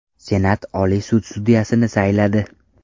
Senat Oliy sud sudyasini sayladi.